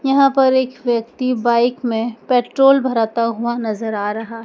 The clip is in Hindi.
यहां पर एक व्यक्ति बाइक में पेट्रोल भराता हुआ नजर आ रहा--